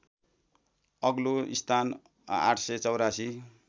अग्लो स्थान ८८४